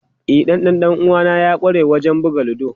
E, dan dan uwana ya kware wajen buga ludo.